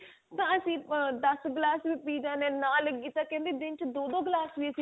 ਤਾਂ ਅਸੀਂ ਦੱਸ ਗਿਲਾਸ ਵੀ ਪੀ ਜਾਣੇ ਆ ਨਾ ਲੱਗੀ ਤਾਂ ਕਿਹੰਦੇ ਦਿਨ ਚ ਕਿਹੰਦੇ ਦੋ ਦੋ ਗਿਲਾਸ